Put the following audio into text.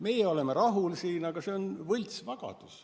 Meie oleme siin rahul, aga see on võltsvagadus.